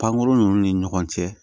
Pankurun ninnu ni ɲɔgɔn cɛ